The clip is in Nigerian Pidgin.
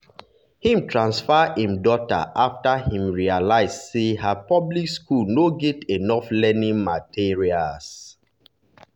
him transfer im daughter after him realize say her public school no get enough learning materials.